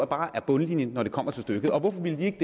bare er bundlinjen når det kommer til stykket hvorfor ville de ikke